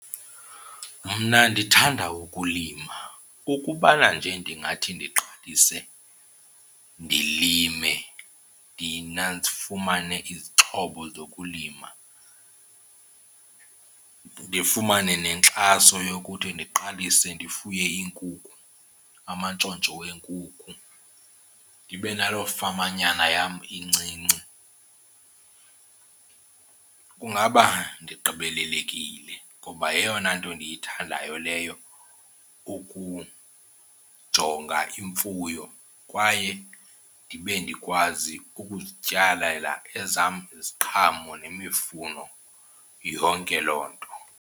Mna ndithanda ukulima. Ukubana nje ndingathi ndiqalise ndilime, ndifumane izixhobo zokulima, ndifumane nenkxaso yokuthi ndiqalise ndifuye iinkukhu, amantshontsho wenkukhu, ndibe naloo famanyana yam incinci, kungaba ndigqibelelekile. Ngoba yeyona nto ndiyithandayo leyo ukujonga imfuyo kwaye ndibe ndikwazi ukuzityalela ezam iziqhamo nemifuno, yonke loo nto.